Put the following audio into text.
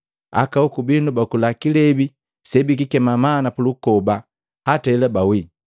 Aka hoku binu bakula kilebi sebikikema mana pulukoba, hata hela bawii.